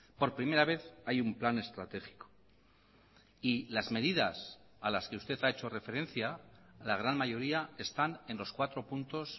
por primera vez hay un plan estratégico y las medidas a las que usted ha hecho referencia la gran mayoría están en los cuatro puntos